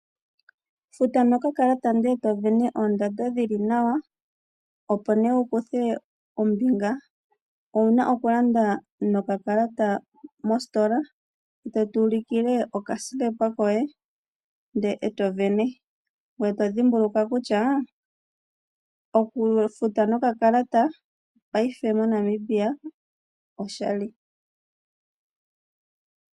Futa nokakalata, ndele e to sindana oondando dhi li nawa, opo nduno wu kuthe ombinga, owu na okulanda nokakalata mositola e to ulike okasilepa koye, e to sindana. Ngoye dhimbulukwa wo kutya okufuta nokakalata moNamibia oshali.